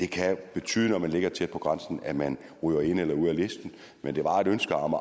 kan betyde når man ligger tæt på grænsen at man ryger ind eller ud af listen men det var et ønske om